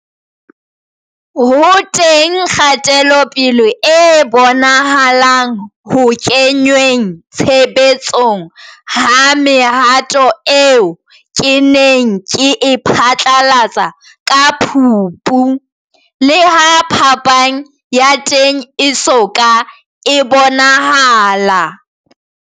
Ho teng kgatelopele e bonahalang ho kengweng tshebetsong ha mehato eo ke neng ke e phatlalatse ka Phupu, leha phapang ya teng e so ka e bonahala.